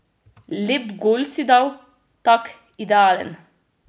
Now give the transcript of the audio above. Lep gol si dal, tak, idealen.